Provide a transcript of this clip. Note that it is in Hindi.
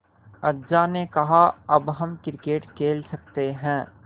अज्जा ने कहा अब हम क्रिकेट खेल सकते हैं